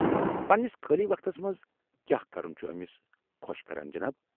پنٛنس خٲلی وقتس منٛز کیٛاہ كرُن چُھ امِس خوش كران ، جناب؟